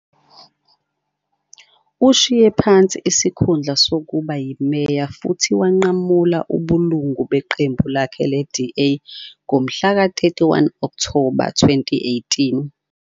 Ushiye phansi isikhundla sokuba yimeya futhi wanqamula ubulungu beqembu lakhe le-DA ngomhlaka 31 Okthoba 2018.